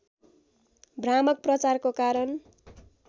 भ्रामक प्रचारको कारण